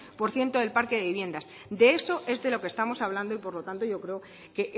por ciento del parque de viviendas de eso es de lo que estamos hablando y por lo tanto yo creo que